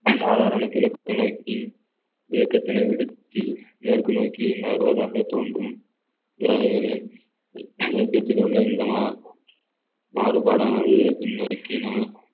சாதாரண கிழக்கு நோக்கி இயக்கத்தினை விடுத்தி மேற்கு நோக்கி நகர்வதாக தோன்றும் கிரகங்களில் இயக்கத்தில் உள்ள இந்த மா~ மாறுபாடானது பின்னோக்கி நாம்